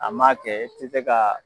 A maa kɛ i tɛ se k'a